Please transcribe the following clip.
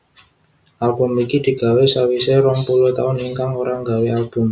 Album iki digawé sawisé rong puluh taun Ikang ora nggawé Album